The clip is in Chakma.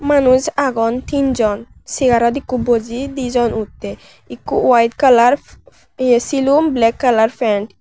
manus aagon tinjon chareot ikko boji dijon uttay ekko white colour ye selum black colour pant.